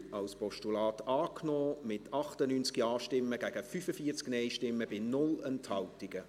Sie haben die Ziffer 3 als Postulat angenommen, mit 98 Ja- gegen 45 Nein-Stimmen bei 0 Enthaltungen.